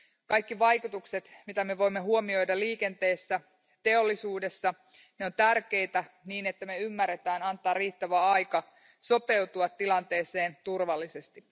Kaikki vaikutukset, joita me voimme huomioida liikenteessä ja teollisuudessa, ovat tärkeitä niin, että me ymmärrämme antaa riittävästi aikaa sopeutua tilanteeseen turvallisesti.